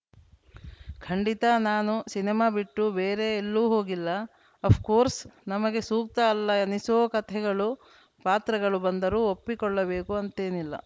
ಖಂಡಿತ ನಾನು ಸಿನಿಮಾ ಬಿಟ್ಟು ಬೇರೆ ಎಲ್ಲೂ ಹೋಗಿಲ್ಲ ಅಫ್‌ಕೋರ್ಸ್‌ ನಮಗೆ ಸೂಕ್ತ ಅಲ್ಲ ಅನಿಸೋ ಕಥೆಗಳು ಪಾತ್ರಗಳು ಬಂದರೂ ಒಪ್ಪಿಕೊಳ್ಳಬೇಕು ಅಂತೇನಿಲ್ಲ